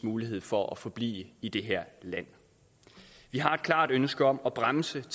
mulighed for at forblive i det her land vi har et klart ønske om at bremse